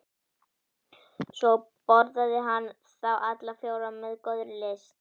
Svo borðaði hann þá alla fjóra með góðri lyst.